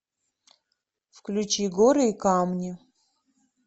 включи горы и камни